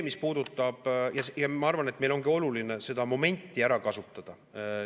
Ma arvan, et meil ongi oluline seda momenti ära kasutada.